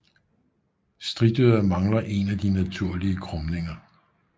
Stritøret mangler en af de naturlige krumninger